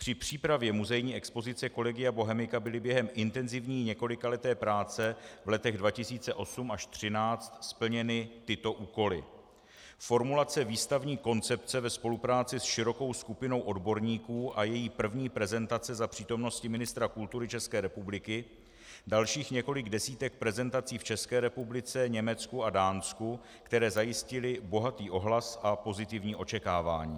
Při přípravě muzejní expozice Collegia Bohemica byly během intenzivní několikaleté práce v letech 2008 až 2013 splněny tyto úkoly: Formulace výstavní koncepce ve spolupráci s širokou skupinou odborníků a její první prezentace za přítomnosti ministra kultury České republiky, dalších několik desítek prezentací v České republice, Německu a Dánsku, které zajistily bohatý ohlas a pozitivní očekávání.